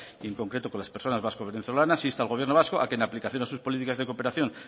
y en concreto con las personas vasco venezolanas insta al gobierno vasco a que en aplicación de sus políticas de cooperación